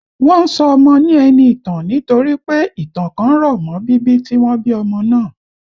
Wọ́n ń sọ ọmọ ní Ẹniìtàn nítorí pé ìtàn kan rọ̀ mọ́ bíbí tí wọ́n bí ọmọ náà